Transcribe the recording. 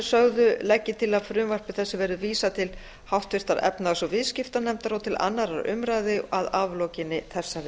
sögðu legg ég til að frumvarpi þessu verði vísað til háttvirtrar efnahags og viðskiptanefndar og til annarrar umræðu að aflokinni þessari